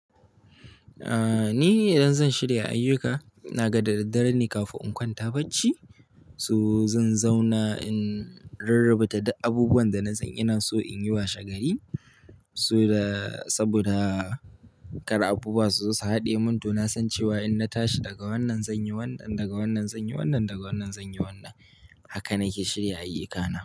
Aaa, ni idan zan shirya ayyuka, inaga dadaddare ne kafin in kwanta bacci. So zan zauna in rarrabata duk abubuwan da na san ina so in yi washegari. Saboda kar abubuwa su zo su haɗiye mun to na san cewa in na tashi daga wannan zan yi wannan, daga wannan zan yi wannan, daga wannan zan yi wannan. Haka nake shirya ayyukana.